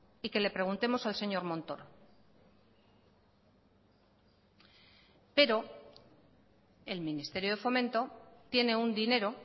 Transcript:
y que le preguntemos al señor montoro pero el ministerio de fomento tiene un dinero